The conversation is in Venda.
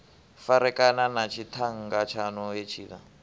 farekana na tshiṱhannga tshaṋu hetshiḽa